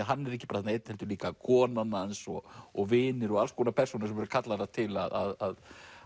hann er ekki bara einn heldur líka konan hans og og vinir og alls konar persónur sem eru kallaðar til að